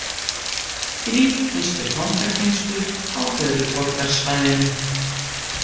Þrír gistu fangageymslur á höfuðborgarsvæðinu